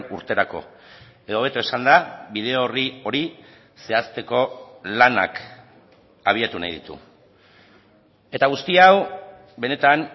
urterako edo hobeto esanda bide orri hori zehazteko lanak abiatu nahi ditu eta guzti hau benetan